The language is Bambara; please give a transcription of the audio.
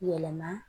Yɛlɛma